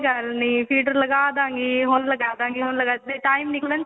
ਕੋਈ ਗੱਲ ਨਹੀਂ feeder ਲਗਾਦਾਂਗੇ ਹੁਣ ਲਗਾਦਾਂਗੇ time ਨਿਕਲਣ ਚ